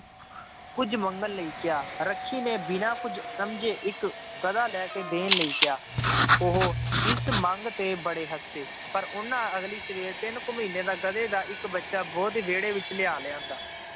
ਕੁੱਝ ਮੰਗਣ ਲਈ ਕਿਹਾ, ਰੱਖੀ ਨੇ ਬਿਨਾਂ ਕੁੱਝ ਸਮਝੇ ਇੱਕ ਗਧਾ ਲੈ ਕੇ ਦੇਣ ਲਈ ਕਿਹਾ ਉਹ ਇਸ ਮੰਗ ਤੇ ਬੜੇ ਹੱਸੇ, ਪਰ ਉਹਨਾਂ ਅਗਲੀ ਸਵੇਰ ਤਿੰਨ ਕੁ ਮਹੀਨੇ ਦਾ ਗਧੇ ਦਾ ਇੱਕ ਬੱਚਾ ਉਹਦੇ ਵਿਹੜੇ ਵਿੱਚ ਲਿਆ ਲਿਆਂਦਾ